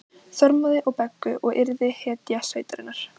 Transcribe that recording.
Þormóði og Beggu og yrði hetja sveitarinnar.